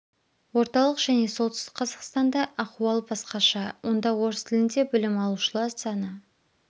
орталық және солтүстік қазақстанда ахуал басқаша онда орыс тілінде білім алушылар саны